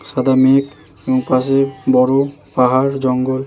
সাদা মেঘ। পাশে বড় পাহাড় জঙ্গল।